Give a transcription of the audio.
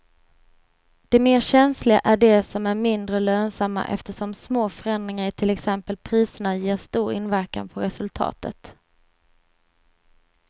De mer känsliga är de som är mindre lönsamma eftersom små förändringar i till exempel priserna ger stor inverkan på resultatet.